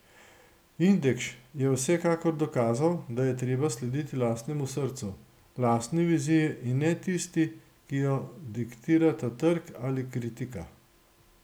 Indekš je vsekakor dokazal, da je treba slediti lastnemu srcu, lastni viziji in ne tisti, ki jo diktirata trg ali kritika.